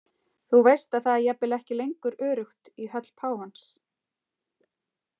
Þú veist að það er jafnvel ekki lengur öruggt í höll páfans.